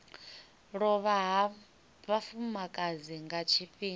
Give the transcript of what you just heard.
lovha ha vhafumakadzi nga tshifhinga